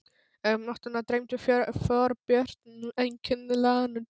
En um nóttina dreymdi Þorbjörn einkennilegan draum.